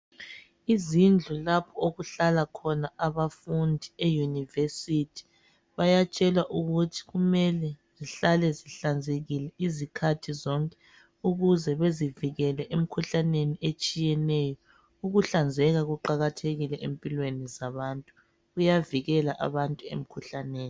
Izindlu lapho okuhlala khona abafundi eyunivesithi bayatshelwa ukuthi kumele zihlale zihlanzekile izikhathi zonke ukuze bezivikele emikhuhlaneni etshiyeneyo. Ukuhlanzeka kuqakathekile empilweni zabantu kuyavikela emikhuhlaneni.